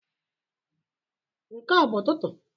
Nke a ọ bụ Ụtụtụ?